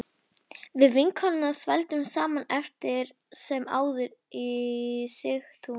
Við vinkonurnar þvældumst saman eftir sem áður í Sigtún